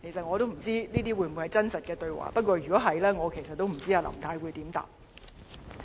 我不知道這些會否是真實對話，不過如果是，我也不知道林太可以如何回答。